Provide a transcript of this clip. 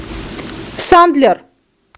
сандлер